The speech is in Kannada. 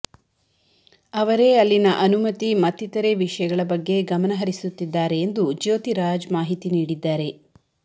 ಅವರೇ ಅಲ್ಲಿನ ಅನುಮತಿ ಮತ್ತಿತರೆ ವಿಷಯಗಳ ಬಗ್ಗೆ ಗಮನಹರಿಸುತ್ತಿದ್ದಾರೆ ಎಂದು ಜ್ಯೋತಿರಾಜ್ ಮಾಹಿತಿ ನೀಡಿದ್ದಾರೆ